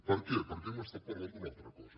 per què perquè hem parlat d’una altra cosa